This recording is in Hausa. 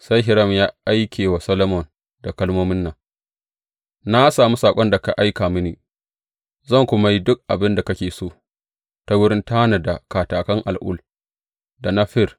Sai Hiram ya aike wa Solomon da kalmomin nan, Na sami saƙon da ka aika mini, zan kuma yi duk abin da kake so ta wurin tanada katakan al’ul da na fir.